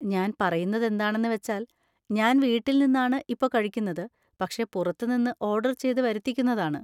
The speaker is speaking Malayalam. ഞാൻ പറയുന്നതെന്താണെന്ന് വെച്ചാൽ, ഞാൻ വീട്ടിൽ നിന്നാണ് ഇപ്പൊ കഴിക്കുന്നത്, പക്ഷെ പുറത്ത് നിന്ന് ഓർഡർ ചെയ്ത് വരുത്തിക്കുന്നതാണ്.